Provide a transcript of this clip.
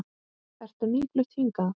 Ertu nýflutt hingað?